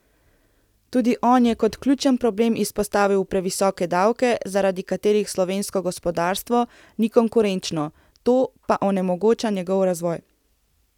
Tudi on je kot ključen problem izpostavil previsoke davke, zaradi katerih slovensko gospodarstvo ni konkurenčno, to pa onemogoča njegov razvoj.